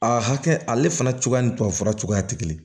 A hakɛ ale fana cogoya ni tubabufura cogoya ti kelen ye